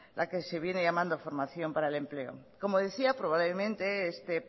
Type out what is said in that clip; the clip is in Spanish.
la que se viene llamando formación para el empleo como decía probablemente este